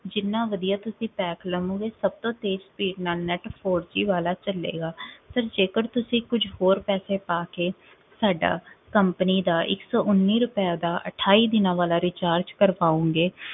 ਜਿਨ੍ਹਾਂ ਵਧੀਆ ਤੁਸੀ pack ਲਵੋਂਗੇ ਸਭ ਤੋਂ ਤੇਜ਼ speed ਨਾਲ net four G ਵਾਲਾ ਚਲੇਗਾ sir ਜੇਕਰ ਤੁਸੀ ਕੁਝ ਹੋਰ ਪੈਸੇ ਪਾ ਕੇ ਸਾਡਾ company ਦਾ ਇੱਕ ਸੌ ਉੱਨੀ ਰੁਪਏ ਦਾ ਅਠਾਈ ਦਿਨਾਂ ਵਾਲਾ Recharge ਕਰਵਾਓਗੇ,